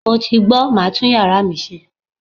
Mo ti gbọ̀, màá tún yàrá mi ṣe.